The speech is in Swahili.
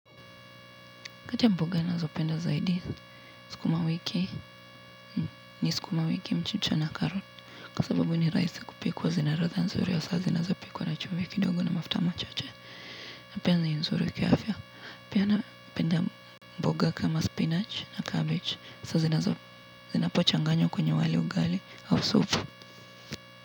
Kata mboga nazo penda zaidi sukuma wiki ni sukuma wiki mchicha na karoti kwa sababu ni rahisi kupikwa zinalatha nzuri wa sasa zinazo pikwa na chumvi kidogo na mafta machache na penda ni nzuri kiafya napenda mboga kama spinach na cabbage sasa zinazo zinapochanganyo kwenye wali ugali au soup.